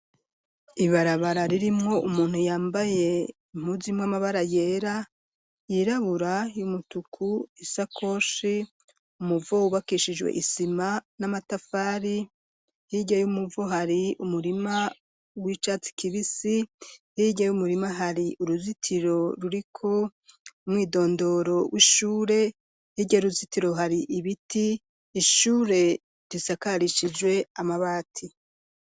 Ibarabara ririmwo umuntu yambaye impuzu irimwo amabara yera, yirabura y'umutuku isakoshi ,umuvo ubakishijwe isima n'amatafari hirya y'umuvo hari umurima w'icatsi kibisi hiya y'umurima hari uruzitiro ruriko umwidondoro w'ishure hirya yuruzitiro ruzitiro hari ibiti ishure risakarishijwe amabati.